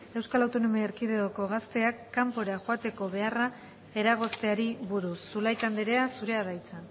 eaeko gazteak kanpora joateko beharra eragozteari buruz zulaika anderea zurea da hitza